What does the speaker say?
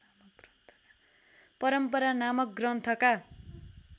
परम्परा नामक ग्रन्थका